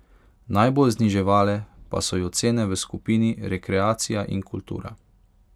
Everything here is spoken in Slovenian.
Najbolj zniževale pa so jo cene v skupini rekreacija in kultura.